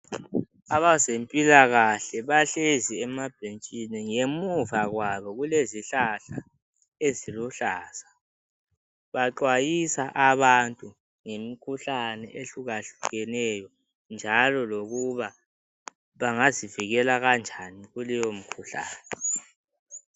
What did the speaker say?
Abezempilakahle bahlezi emabhentshini, ngemuva kwabo kulezihlahla eziluhlaza. Baxwayisa abantu ngemikhuhlane ehlukahlukeneyo njalo lokuba bangazivikela kanjani kuleyo mikhuhlane.